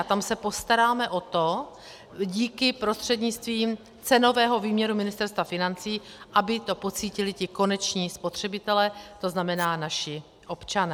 A tam se postaráme o to, díky, prostřednictvím cenového výměru Ministerstva financí, aby to pocítili ti koneční spotřebitelé, to znamená naši občané.